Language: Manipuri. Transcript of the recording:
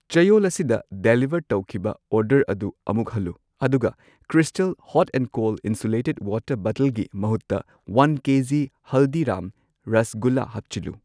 ꯆꯌꯣꯜ ꯑꯁꯤꯗ ꯗꯥꯂꯤꯚꯔ ꯇꯧꯈꯤꯕ ꯑꯣꯔꯗꯔ ꯑꯗꯨ ꯑꯃꯨꯛ ꯍꯜꯂꯨ ꯑꯗꯨꯒ crystal hot and cold insulated water ꯕꯇꯜꯒꯤ ꯃꯍꯨꯠꯇ ꯋꯥꯟ ꯀꯦꯖꯤ ꯍꯜꯗꯤꯔꯥꯝ ꯔꯥꯁꯒꯨꯜꯂꯥ ꯍꯥꯞꯆꯤꯜꯂꯨ꯫